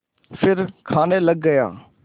फिर खाने लग गया